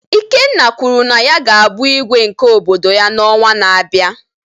Ikenna kwuru na ya ga-abụ Igwe nke obodo ya n'ọnwa na-abịa